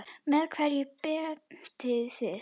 Með hverju beitið þið?